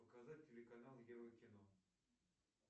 показать телеканал ева кино